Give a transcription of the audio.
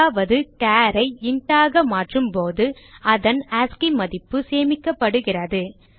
அதாவது char ஐ int ஆக மாற்றும் போது அதன் ஆஸ்சி மதிப்பு சேமிக்கப்படுகிறது